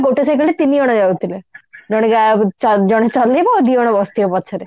ଗୋଟେ cycle ରେ ତିନିଜଣ ଯାଉଥିଲେ ଜଣେ ଗା ଜଣେ ଚଲେଇବ ଆଉ ଦି ଜଣ ବସିଥିବେ ପଛରେ